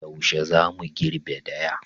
Yaushe za mu girbe daya?